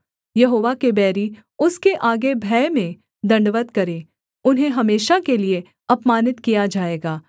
यहोवा के बैरी उसके आगे भय में दण्डवत् करे उन्हें हमेशा के लिए अपमानित किया जाएगा